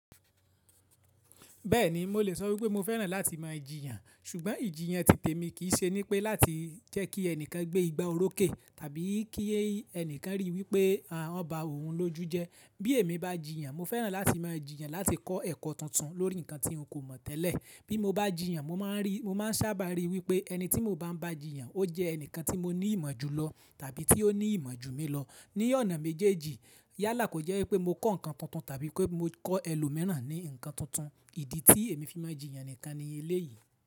Bẹ́ẹ̀ni, mo lè sọ wípé mo fẹ́ràn láti máa jìyàn, ṣùgbọ́n ìjìyàn titè mi kì í ṣe nípa láti jẹ́ kí ẹnìkan gbé igba oró kẹ̀ tàbí kí ẹnìkan ríi wípé a ń bá òun lójú jẹ. Bí èmi bá jìyàn, mo fẹ́ràn láti máa jìyàn láti kọ́ ẹ̀kọ́ tuntun lórí nǹkan tí n kò mọ̀ tẹ́lẹ̀. Bí mo bá jìyàn, mo máa ń rí, mo máa ń sábà ríi wípé ẹni tí mo bá ń bá jìyàn ó jẹ́ ẹnìkan tí mo ní ìmọ̀ ju lọ tàbí tí ó ní ìmọ̀ ju mi lọ ní ọ̀nà méjèèjì. Yálà kò jẹ́ wípé mo kọ́ nǹkan tuntun tàbí pé mo kọ́ ẹlòmíràn ní nǹkan tuntun. Ìdí tí èmi fi máa jìyàn ẹnìkan ni eléyìí.